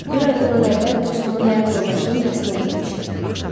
Bir ay bundan əvvəl dostumun həyat yoldaşının yasına getmişdim.